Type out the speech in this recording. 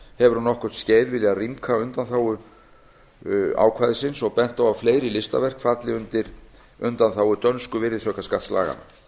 hefur um nokkurt skeið viljað rýmka undanþágu ákvæðisins og bent á að fleiri listaverk falli undir undanþágu dönsku virðisaukaskattslaganna